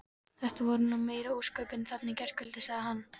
Þetta voru nú meiri ósköpin þarna í gærkvöldi sagði